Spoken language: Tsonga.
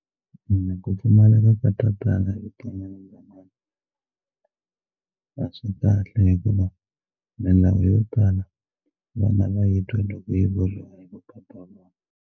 Ni ku pfumaleka ka tatana a swi kahle hikuva milawu yo tala vana va yi twa loko yi vuriwa hi .